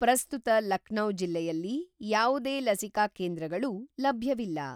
ಪ್ರಸ್ತುತ ಲಕ್ನೌ ಜಿಲ್ಲೆಯಲ್ಲಿ ಯಾವುದೇ ಲಸಿಕಾ ಕೇಂದ್ರಗಳು ಲಭ್ಯವಿಲ್ಲ.